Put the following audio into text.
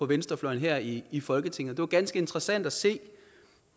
venstrefløjen her i i folketinget det var ganske interessant at se